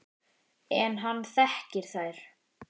En hann þekkir þær.